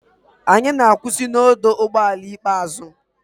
Anyị na-akwụsị na ọdụ ụgbọ ala ikpeazụ.